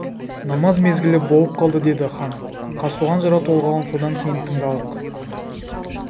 намаз мезгілі болып қалды деді хан қазтуған жырау толғауын содан кейін тыңдалық